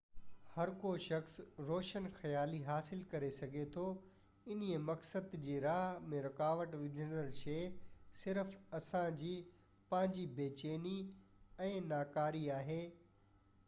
هر ڪو شخص روشن خيالي حاصل ڪري سگهي ٿو انهي مقصد جي راهه ۾ رڪاوٽ وجهندڙ شئي صرف اسان جي پنهنجي بي چيني ۽ ناڪاري آهي